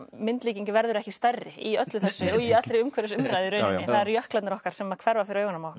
myndlíking verður ekki stærri í öllu þessu og í allri umhverfisumræðu í rauninni jöklarnir okkar sem að hverfa fyrir augunum á